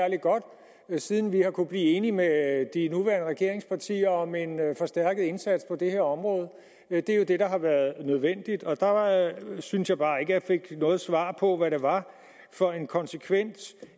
ja siden vi har kunnet blive enige med de nuværende regeringspartier om en forstærket indsats på det her område det er jo det der har været nødvendigt og der synes jeg bare ikke jeg fik noget svar på hvad det var for en konsekvent